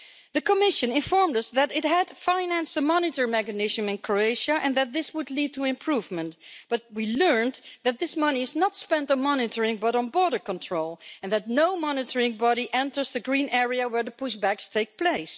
The Commission informed us that it had financed the monitoring mechanism in Croatia and that this would lead to improvement, but we learned that this money is not spent on monitoring but on border control, and that no monitoring body enters the green area where the push backs take place.